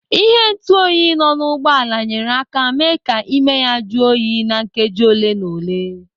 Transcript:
Ịhe ntuoyi nọ n'ụgbọala nyere aka mee ka ịme ya jụọ oyi na nkeji ole na ole.